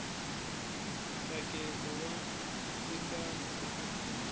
ntsakelo wa ndzingano eka bindzu